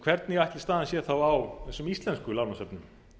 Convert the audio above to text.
hvernig ætli staðan sé þá á þessum íslensku lánasöfnum